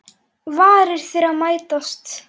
Varir þeirra mætast.